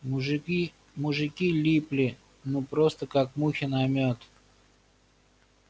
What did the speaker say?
мужики мужики липли ну просто как мухи на мёд